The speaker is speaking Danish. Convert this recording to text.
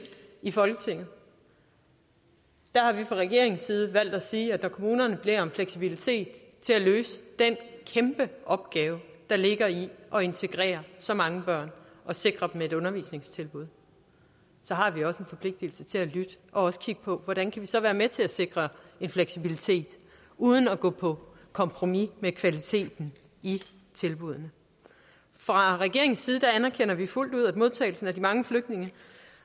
i folketinget der har vi fra regeringens side valgt at sige at når kommunerne beder om fleksibilitet til at løse den kæmpe opgave der ligger i at integrere så mange børn og sikre dem et undervisningstilbud så har vi også en forpligtelse til at lytte og også kigge på hvordan vi så kan være med til at sikre en fleksibilitet uden at gå på kompromis med kvaliteten i tilbuddene fra regeringens side anerkender vi fuldt ud at modtagelsen af de mange flygtninge